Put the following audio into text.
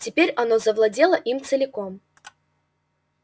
теперь оно завладело им целиком